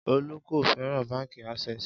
Olú kò fẹ́ràn Báńkì Access.